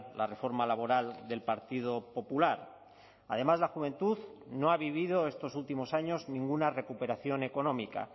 la reforma laboral del partido popular además la juventud no ha vivido estos últimos años ninguna recuperación económica